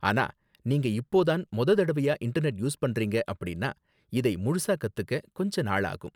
ஆனா, நீங்க இப்போ தான் மொத தடவையா இன்டர்நெட் யூஸ் பண்றீங்க அப்படின்னா, இதை முழுசா கத்துக்க கொஞ்ச நாளாகும்.